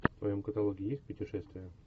в твоем каталоге есть путешествия